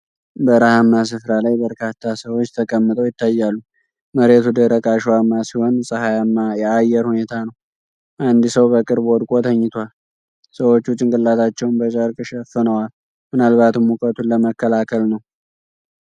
በረሃማ ስፍራ ላይ በርካታ ሰዎች ተቀምጠው ይታያሉ። መሬቱ ደረቅ አሸዋማ ሲሆን ፀሐይማ የአየር ሁኔታ ነው። አንድ ሰው በቅርብ ወድቆ ተኝቷል። ሰዎች ጭንቅላታቸውን በጨርቅ ሸፍነዋል፤ ምናልባትም ሙቀቱን ለመከላከል ነው።